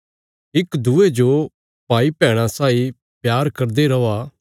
इक दूये जो भाईभैणा साई प्यार करदे रौआ